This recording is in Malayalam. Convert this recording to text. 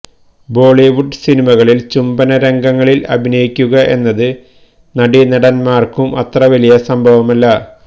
ബോളിവുഡ് സിനിമകളില് ചുംബന രംഗങ്ങളില് അഭിനയിക്കുക എന്നത് നടീ നടന്മ്മാര്ക്കും അത്ര വലിയ സംഭവമല്ല